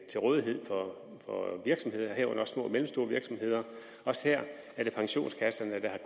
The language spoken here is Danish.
til rådighed for virksomheder herunder små og mellemstore virksomheder også her er det pensionskasserne der